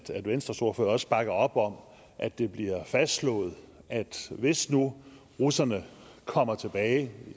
venstres ordfører også bakker op om at det bliver fastslået at hvis nu russerne kommer tilbage